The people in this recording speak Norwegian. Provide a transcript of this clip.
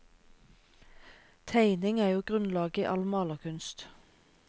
Tegning er jo grunnlaget i all malerkunst.